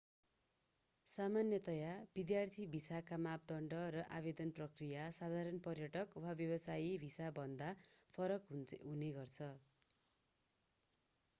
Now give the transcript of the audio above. सामान्यतया विद्यार्थी भिसाका मापदण्ड र आवेदन प्रक्रिया साधारण पर्यटक वा व्यवसाय भिसाभन्दा फरक हुने गर्छन्